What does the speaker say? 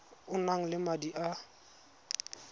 o nang le madi a